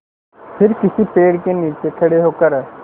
फिर किसी पेड़ के नीचे खड़े होकर